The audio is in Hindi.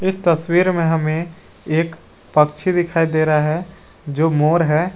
इस तस्वीर में हमें एक पक्षी दिखाई दे रहा है जो मोर है।